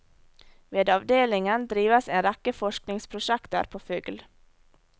Ved avdelingen drives en rekke forskningsprosjekter på fugl.